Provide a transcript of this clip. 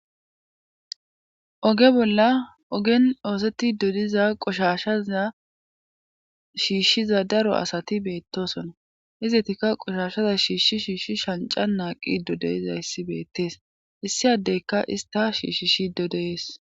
oge bolla ogen oosettido diza qoshashaza shiishshiza daro asati beettosona izetika qoshashaza shiishi shiishshi shanca naaqi dodeyizayssi beettees issi addeyka ista shiishshishi dodeees